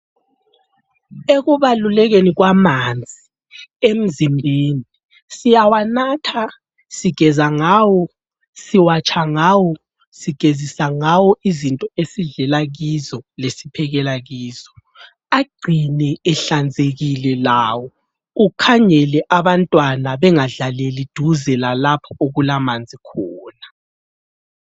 Ekubalulekeni kwamanzi emzimbeni, siyawanatha ,sigeza ngawo siwatsha ngawo ,sigezisa ngawo izinto esidlela kizo lesiphekela kizo .Agcine ehlanzekile lawo, ukhangele abantwanaa bengadlaleli duze lalapho okulamanzi khona .